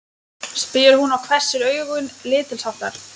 spyr hún og hvessir augun lítilsháttar.